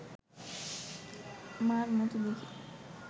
মার মতো দেখে